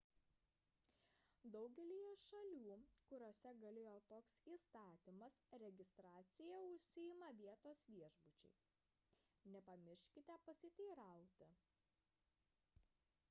daugelyje šalių kuriose galioja toks įstatymas registracija užsiima vietos viešbučiai nepamirškite pasiteirauti